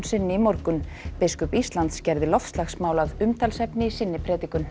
sinni í morgun biskup Íslands gerði loftslagsmál að umtalsefni í sinni predikun